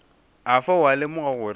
afa o a lemoga gore